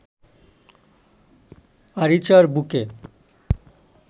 আরিচার বুকে